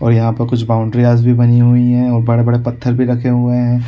ओर यहाँ पर कुछ बाउंड्रीय्स भी बनी हुई है ओर बड़े-बड़े पत्थर भी रखे हुए है।